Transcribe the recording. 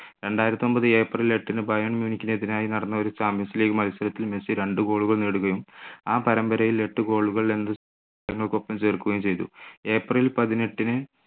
രണ്ടായിരത്തിയൊമ്പത് April എട്ടിന് Bayern‍ മ്യൂണിക്കിന് എതിരായി നടന്ന ഒരു champions league മത്സരത്തിൽ മെസ്സി രണ്ടു goal കൾ നേടുകയും ആ പരമ്പരയിൽ എട്ടു goal കൾക്കൊപ്പം ചേർക്കുകയും ചെയ്തു ഏപ്രിൽ പതിനെട്ടിന്